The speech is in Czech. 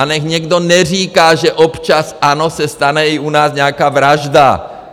A nechť někdo neříká, že - občas, ano, se stane i u nás nějaká vražda.